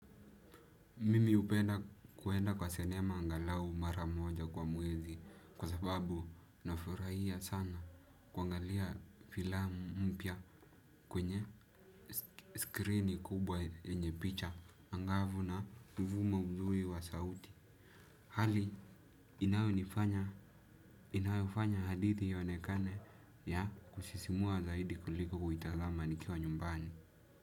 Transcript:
Mimi hupenda kwenda kwa senema angalau mara moja kwa mwezi kwa sababu nafurahia sana kuangalia filamu mpya kwenye screeni kubwa yenye picha angavu na mvumo mzuri wa sauti. Hali inayofanya hadithi ionekane ya kusisimua zaidi kuliko kuitazama nikiwa nyumbani.